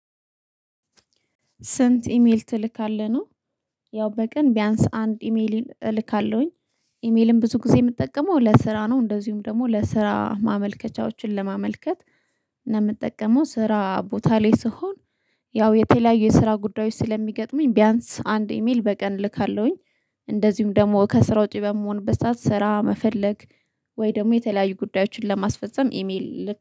ስንት? ኢሜል ትልካለህ ነው ያው በቀን ቢያንስ አንድ ኢሜል እልካለሁኝ ኢሜልም ብዙ ጊዜ የምጠቀመው ለስራ ነው። እንደዚሁም ደግሞ ለስራ ማመልከቻዎችን ለማመልከት እና የምጠቀመው ስራ ቦታ ላይ ስትሆን ያው የተለያዩ የስራ ጉዳዮች ስለሚገጥመኝ ቢያንስ አንድ ኢሜል በቀን ልካለሁኝ። እንደዚሁም ደግሞ ከስራ ውጪ በምሆንበት ሰዓት ስራ መፈለግ ወይ ደግሞ የተለያዩ ጉዳዮችን ለማስፈፀም ኢሜል